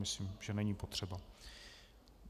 Myslím, že není potřeba.